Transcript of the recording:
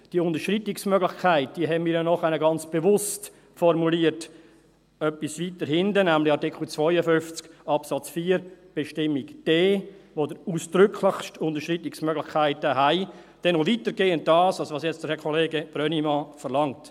Diese Unterschreitungsmöglichkeit haben wir ja nachher ganz bewusst formuliert, etwa weiter hinten, nämlich bei Artikel 52 Absatz 4 Buchstabe d, wo es ganz ausdrücklich Unterschreitungsmöglichkeiten gibt, noch weitergehend als das, was jetzt Herr Kollege Brönnimann verlangt.